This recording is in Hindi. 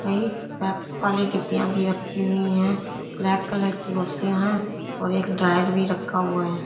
वहीं वैक्स वाली डिब्बीयाँ भी रखी हुई हैं ब्लैक कलर की कुर्सियां है और एक ड्रायर भी रखा हुआ है।